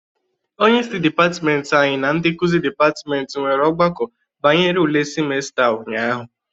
Onyeisi dịpatịmentị anyị na ndị nkuzi dịpatịmentị nwere ọgbakọ banyere ule simesta a ụnyaahụ